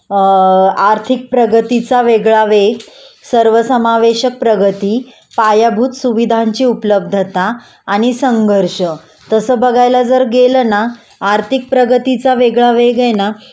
अ आर्थिकप्रगतीचा वेगळा वेग, सर्वसमावेशक प्रगती, पायाभूत सुविधांची उपलब्धता आणि संघर्ष.तसं बघायला जर गेलं ना आर्थिक प्रगतीचा वेगळा वेग आहे ना